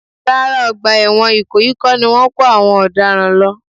Rárá, ọgbà ẹ̀wọ̀n ìkòyí kọ́ ni wọ́n ń kó àwọn ọ̀daràn lọ